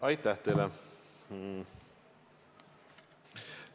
Aitäh teile!